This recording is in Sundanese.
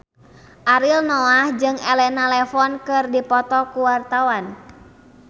Ariel Noah jeung Elena Levon keur dipoto ku wartawan